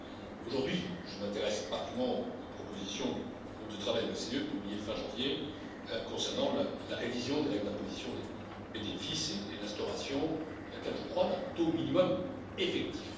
G20. Aujourd'hui, je m'intéresse particulièrement aux propositions du groupe de travail de l'OCDE, publiées fin janvier, concernant la révision des règles d'imposition des bénéfices et l'instauration, à laquelle je crois, d'un taux minimum effectif.